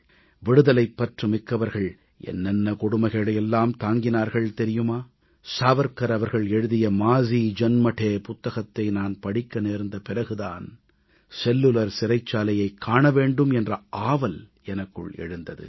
விடுதலைப்பற்று மிக்கவர்கள் என்னென்ன கொடுமைகளை எல்லாம் தாங்கினார்கள் தெரியுமா சாவர்க்கர் அவர்கள் எழுதிய மாஜீ ஜன்மடே माज़ी जन्मठे புத்தகத்தை நான் படிக்க நேர்ந்த பிறகு தான் செல்லுலர் சிறைச்சாலையைக் காண வேண்டும் என்ற ஆவல் எனக்குள் எழுந்தது